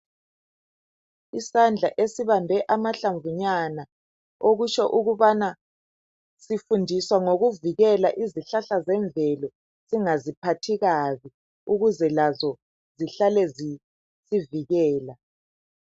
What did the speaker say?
Isandla esibambe amahlabvunyana okutsho okubana sifundiswa ngokuvikela izihlahla zemvelo singaziphathi kabi ukuze lazo zihlale zisivikela.